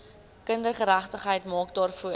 kindergeregtigheid maak daarvoor